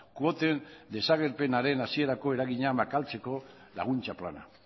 kuoten desagerpenaren hasierako eragina makaltzeko laguntza plana